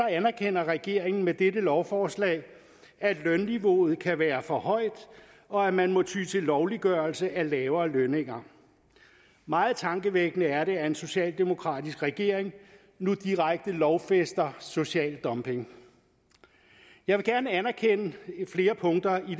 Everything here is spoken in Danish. anerkender regeringen med dette lovforslag at lønniveauet kan være for højt og at man må ty til lovliggørelse af lavere lønninger meget tankevækkende er det at en socialdemokratisk regering nu direkte lovfæster social dumping jeg vil gerne anerkende flere punkter